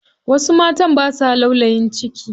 Wasu matan basa laulayin ciki.